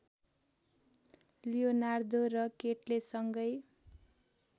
Leonardo र केटले सँगै